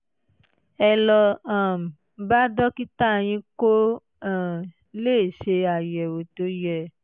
ẹ lọ um bá dókítà yín kó um lè ṣe àyẹ̀wò tó yẹ